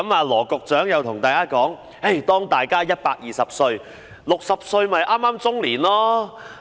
羅局長又告訴大家，當大家120歲 ，60 歲剛好是中年。